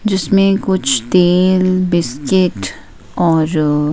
जिसमें कुछ तेल बिस्किट और--